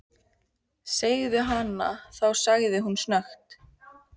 Segðu hana þá sagði hún snöggt.